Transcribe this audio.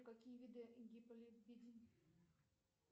какие виды